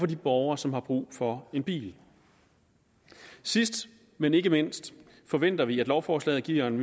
de borgere som har brug for en bil sidst men ikke mindst forventer vi at lovforslaget giver en